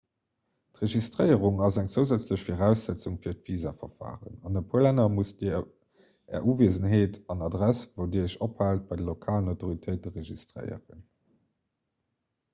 d'registréierung ass eng zousätzlech viraussetzung fir d'visaverfaren an e puer länner musst dir är uwiesenheet an adress wou dir iech ophaalt bei de lokalen autoritéite registréieren